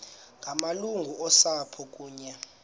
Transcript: ngamalungu osapho kunye